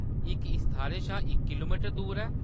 इक इस थाह्‌‌‌रै शा इक किलोमीटर दूर ऐ।